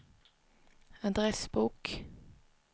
adressbok